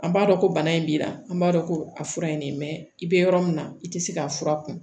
An b'a dɔn ko bana in b'i la an b'a dɔn ko a fura in ne bɛ yɔrɔ min na i tɛ se k'a fura kun